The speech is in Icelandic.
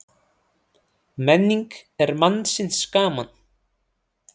Menning er mannsins gaman